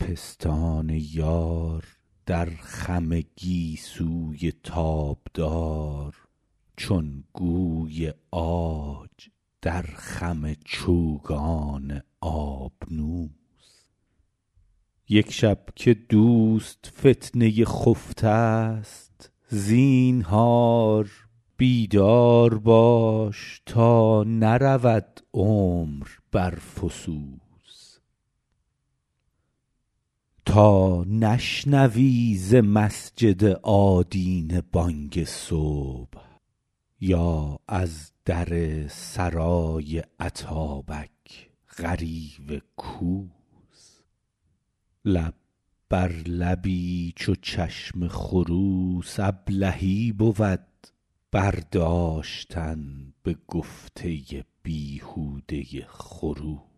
پستان یار در خم گیسوی تابدار چون گوی عاج در خم چوگان آبنوس یک شب که دوست فتنه خفته ست زینهار بیدار باش تا نرود عمر بر فسوس تا نشنوی ز مسجد آدینه بانگ صبح یا از در سرای اتابک غریو کوس لب بر لبی چو چشم خروس ابلهی بود برداشتن به گفته بیهوده خروس